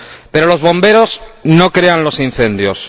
Pero los bomberos no crean los incendios.